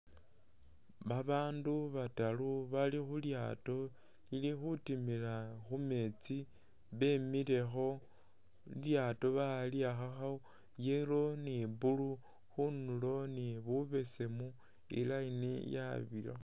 Babaandu bataru bali khu lyaato lili khutimila khu meetsi bemilekho. Lilyaato bali'akhakakho yellow ni blue khundulo ni bubesemu i'line yabirakho.